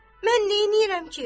Mən nəyləyirəm ki?